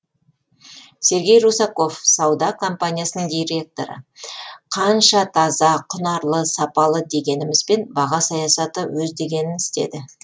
сергей русаков сауда компаниясының директоры қанша таза құнарлы сапалы дегенімізбен баға саясаты өз дегенін істеді